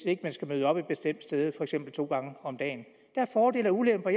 ikke skal møde op et bestemt sted to gange om dagen der er fordele og ulemper